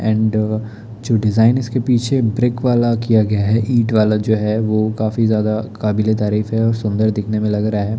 And जो design इसके पीछे ब्रिक वाला किया गया है ईंट वाला जो है वो काफी ज्यादा काबिले तारीफ है और सुंदर दिखने में लग रहा है।